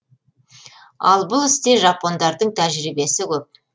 ал бұл істе жапондардың тәжірибесі көп